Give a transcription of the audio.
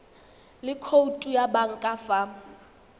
le khoutu ya banka fa